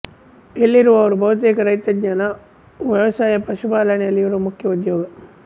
ಇಲ್ಲಿರುವವರು ಬಹುತೇಕ ರೈತಜನ ವ್ಯವಸಾಯ ಪಶುಪಾಲನೆಗಳು ಇವರು ಮುಖ್ಯ ಉದ್ಯೋಗ